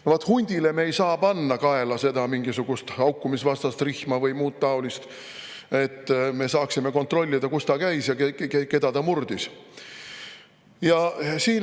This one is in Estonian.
No vaat hundile me ei saa panna kaela mingisugust haukumisvastast või muud taolist rihma, et me saaksime kontrollida, kus ta käis ja keda ta murdis.